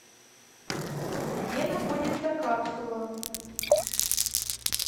где находится капсула